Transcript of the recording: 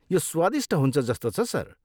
यो स्वादिष्ट हुन्छ जस्तो छ, सर।